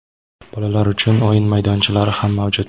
bolalar uchun o‘yin maydonchalari ham mavjud.